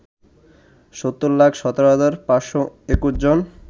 ৭০ লাখ ১৭ হাজার ৫২১ জন